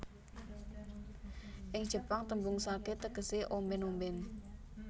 Ing Jepang tembung sake tegese omben omben